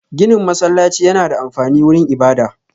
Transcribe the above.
Ginin masallaci yana da amfani wurin ibada